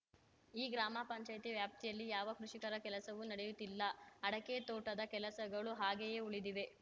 ಈ ಗ್ರಾಮಪಂಚಾಯತಿ ವ್ಯಾಪ್ತಿಯಲ್ಲಿ ಯಾವ ಕೃಷಿಕರ ಕೆಲಸವೂ ನಡೆಯುತ್ತಿಲ್ಲ ಅಡಕೆ ತೋಟದ ಕೆಲಸಗಳು ಹಾಗೆಯೇ ಉಳಿದಿವೆ